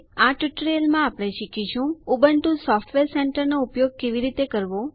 આ ટ્યુટોરીયલમાં આપણે શીખીશું ઉબુન્ટુ સોફ્ટવેર સેન્ટર નો ઉપયોગ કેવી રીતે કરવો